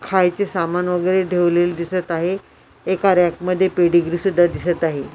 खायचे सामान वगैरे ठेवलेल दिसत आहे एका रॅक मध्ये पेडीगरी सुद्धा दिसत आहे.